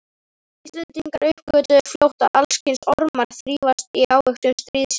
Íslendingar uppgötvuðu fljótt að alls kyns ormar þrífast í ávöxtum stríðsins.